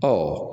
Ɔ